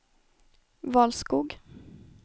Valskog